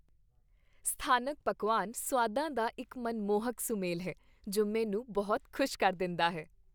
ਸਥਾਨਕ ਪਕਵਾਨ ਸੁਆਦਾਂ ਦਾ ਇੱਕ ਮਨਮੋਹਕ ਸੁਮੇਲ ਹੈ ਜੋ ਮੈਨੂੰ ਬਹੁਤ ਖ਼ੁਸ਼ ਕਰ ਦਿੰਦਾ ਹੈ।